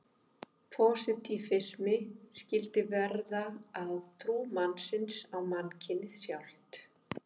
Pósitífisminn skyldi verða að trú mannsins á mannkynið sjálft.